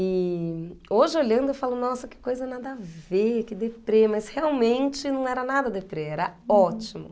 E hoje olhando eu falo, nossa, que coisa nada a ver, que deprê, mas realmente não era nada deprê, era ótimo.